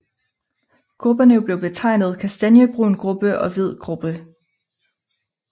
Grupperne blev betegnet Kastanjebrun gruppe og Hvid gruppe